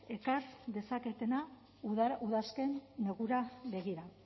ekar dezaketenak udazken negura begira